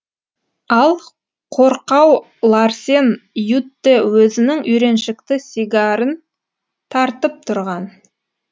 ал қорқау ларсен ютте өзінің үйреншікті сигарын тартып тұрған